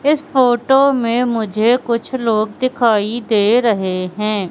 इस फोटो में मुझे कुछ लोग दिखाई दे रहे हैं।